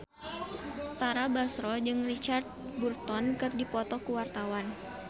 Tara Basro jeung Richard Burton keur dipoto ku wartawan